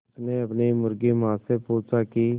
उसने अपनी मुर्गी माँ से पूछा की